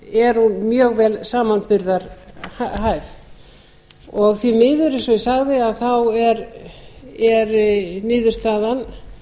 er hún mjög vel samanburðarhæf því miður eins og ég sagði er niðurstaðan